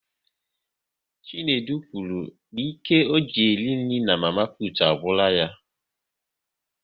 Chinedu kwuru n'ike ọ ji eri nri mama putu agwụla ya